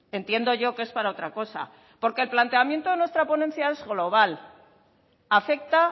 entiendo yo que es para otra cosa porque el planteamiento de nuestra ponencia el global afecta